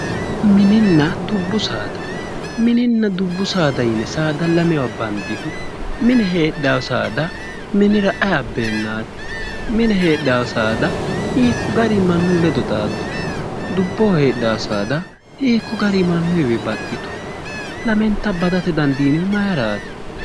Mininna dubbu saada mininna dubbu saada yine saada lamewa bandihu mine heedhawo saada minira ayi abbeennaati mine heedhawo saada hiikko gariyi mannu ledo xaaddu dubboho heedhawo saada hiikko gariiyi mannuyiwi baxxitu lamenta badate dandiinihu mayiraati